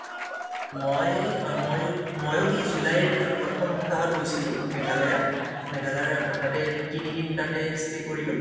মই ই মই মইও সেই july ৰ প্ৰথম সপ্তাহত গৈছিলো মেঘালয়া | মেঘালয়া তাতে তিনি দিন তাতে stay কৰিলোঁ |